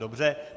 Dobře.